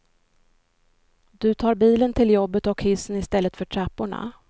Du tar bilen till jobbet och hissen istället för trapporna.